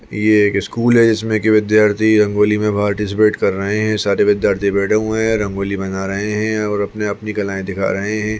ये एक स्कूल है जिसमें के विद्यार्थी रंगोली में पार्टीसिपेट कर रहे हैं सारे विद्यार्थी बैठे हुए है रंगोली बना रहे है और अपनी अपनी कलाएं दिखा रहे हैं।